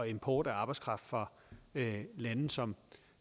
import af arbejdskraft fra lande som